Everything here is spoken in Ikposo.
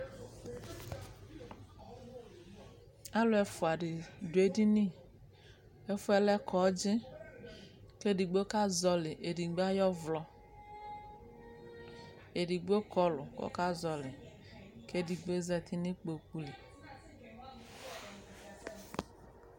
Aĺu ɛfua dene do edini ɛfuɛ lɛ kɔdzi kɛ ɛdigbo kazɔle edigbo ayɔ vlɔ Edigbo kɔlu kɔka zɔle kɛ edigboe zati ne kpoku li